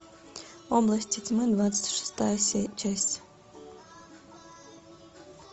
области тьмы двадцать шестая часть